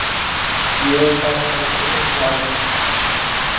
Ég er það eiginlega líka.